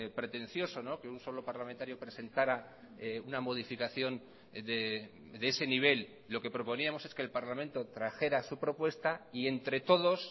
pretencioso que un solo parlamentario presentara una modificación de ese nivel lo que proponíamos es que el parlamento trajera su propuesta y entre todos